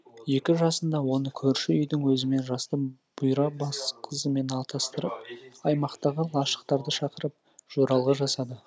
екі жасында оны көрші үйдің өзімен жасты бұйра бас қызымен атастырып аймақтағы лашықтарды шақырып жоралғы жасады